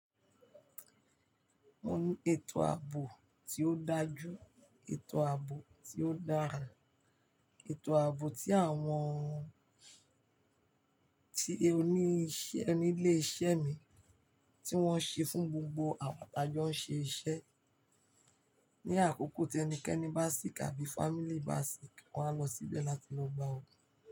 Mo ní ètò ààbò tí ó dájú, ètò ààbò tí ó dára, ètò ààbò tí àwọn tí oníṣẹ́ nílé iṣẹ́ mi tí wọ́n ṣe fún gbogbo àwọn tí ajọ ń ṣe iṣẹ́. Ni àkókò tí ẹnikẹ́ni bá sick àbí family bá sick, wọ́n á lọ síbẹ̀ láti lọ gba ògùn.